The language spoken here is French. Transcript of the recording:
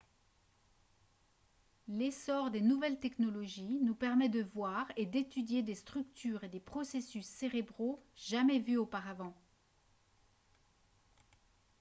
l'essor des nouvelles technologies nous permet de voir et d'étudier des structures et des processus cérébraux jamais vus auparavant